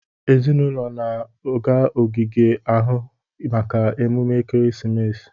Ezinụlọ na-aga n'ogige ahụ maka emume ekeresimesi.